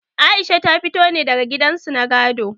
Aisha ta fito ne daga gidan su na gado.